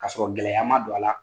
Ka sɔrɔ gɛlɛya ma don a la.